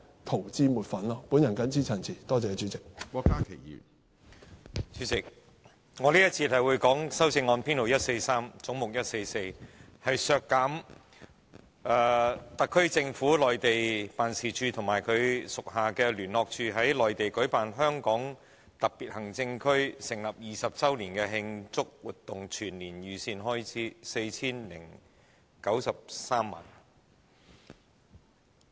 主席，在這節辯論時段，我會就有關總目144編號143的修正案發言，其目的是要削減香港特別行政區政府的內地辦事處及其轄下的聯絡辦事處在內地舉辦香港特別行政區成立20周年的慶祝活動的全年預算開支，總額為 4,093 萬元。